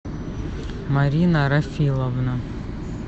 марина рафиловна